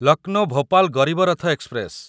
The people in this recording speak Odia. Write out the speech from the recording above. ଲକନୋ ଭୋପାଲ ଗରିବ ରଥ ଏକ୍ସପ୍ରେସ